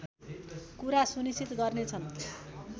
कुरा सुनिश्चित गर्ने छन्